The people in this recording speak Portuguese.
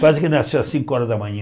Quase que nasceu às cinco horas da manhã.